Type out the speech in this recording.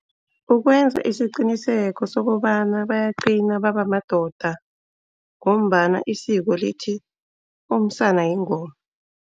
Ukwenza isiqiniseko sokobana bayagcina babemadoda ngombana isiko lithi umsana yingoma.